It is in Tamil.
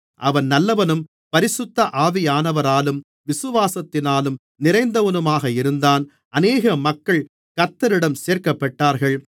அவன் நல்லவனும் பரிசுத்த ஆவியானவராலும் விசுவாசத்தினாலும் நிறைந்தவனுமாக இருந்தான் அநேக மக்கள் கர்த்தரிடம் சேர்க்கப்பட்டார்கள்